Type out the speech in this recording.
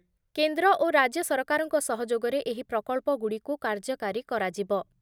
କେନ୍ଦ୍ର ଓ ରାଜ୍ୟ ସରକାରଙ୍କ ସହଯୋଗରେ ଏହି ପ୍ରକଳ୍ପଗୁଡ଼ିକୁ କାର୍ଯ୍ୟକାରୀ କରାଯିବ ।